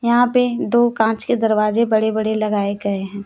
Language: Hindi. यहां पे दो कांच के दरवाजे बड़े बड़े लगाए गए हैं।